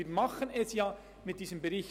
Wir tun es denn auch mit diesem Bericht.